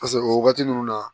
o wagati ninnu na